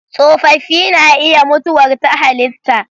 Tsofaffi na iya mutuwar ta halitta.